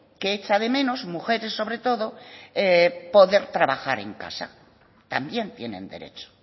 que echa de menos mujeres sobre todo poder trabajar en casa también tienen derecho